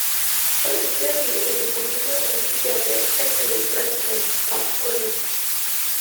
tolikioki enikununo enkijape ee new brighton pa olly